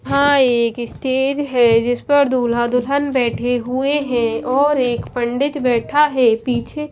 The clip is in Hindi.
हां एक स्टेज है जिस पर दुल्हा-दुल्हन बैठे हुए हैं और एक पंडित बैठा है पीछे--